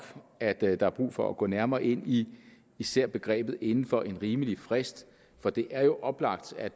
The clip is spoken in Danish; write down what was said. at der der er brug for at gå nærmere ind i især begrebet inden for en rimelig frist for det er jo oplagt at